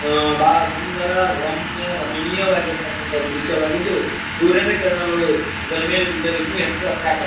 ಆಆಆ ಬಹಳ ಸುಂದರ ರಮ್ಯಾ ರಮಣೀಯವಾಗಿರ್ತಕಂತ ದೃಶ್ಯವಾಗಿದ್ದು ಸೂರ್ಯನ ಕಿರಣಗಳು ಇದರ ಮೇಲೆ ಬಿದ್ದರೆ ಇನ್ನು ಹೆಚ್ಚು ಆತ್ಯಾಕರ್ --